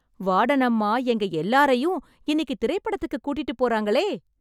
வார்டனம்மா எங்க எல்லாரையும் இன்னிக்கு திரைப்படத்துக்கு கூட்டிட்டுப் போறாங்களே...